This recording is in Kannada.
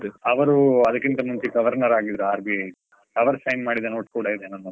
ಅವರು ಅದ್ರಕ್ಕಿಂತ ಮುಂಚೆ Governor ಆಗಿದ್ರು RBI ದು, ಅವ್ರು sign ಮಾಡಿದ note ಕೂಡಾ ಇದೆ ನನ್ಹತ್ರಾ.